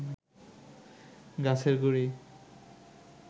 গাছের গুঁড়ি